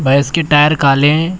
व इसके टायर काले हैं।